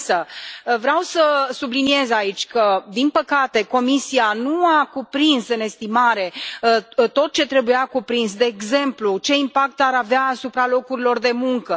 Însă, vreau să subliniez aici că, din păcate, Comisia nu a cuprins în estimare tot ce trebuia cuprins, de exemplu, ce impact ar avea asupra locurilor de muncă?